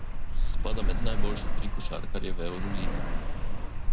Spada med najboljše tri košarkarje v evroligi.